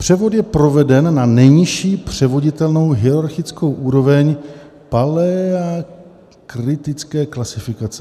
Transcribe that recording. Převod je proveden na nejnižší převoditelnou hierarchickou úroveň Palearktické klasifikace.